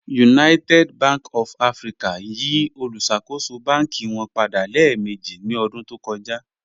United Bank of Africa yí òlúṣakò̩ṣò̩ bánkì wọn padà lẹẹ̀mẹ̀jì ní ọdún tó kọ̀jà.